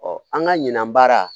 an ka ɲina baara